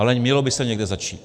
Ale mělo by se někde začít.